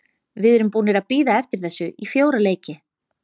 Við erum búnir að bíða eftir þessu í fjóra leiki.